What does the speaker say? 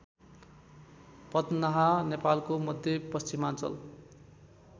पदनाहा नेपालको मध्यपश्चिमाञ्चल